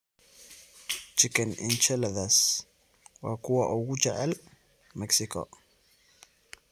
Chicken enchiladas waa kuwa ugu jecel Mexico.